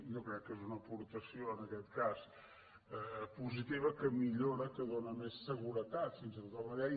jo crec que és una aportació en aquest cas positiva que millora que dóna més seguretat fins i tot a la llei